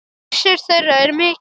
Missir þeirra er mikill.